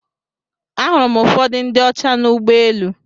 Ahụrụ m ụfọdụ ndị ọcha na ụgbọ elu.